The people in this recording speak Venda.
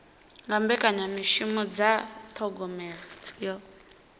nga mbekanyamishumo dza thogomelo yo